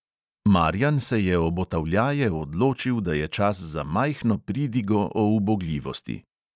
Marjan se je obotavljaje odločil, da je čas za majhno pridigo o ubogljivosti.